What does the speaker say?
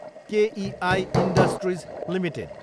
KEI industries Ltd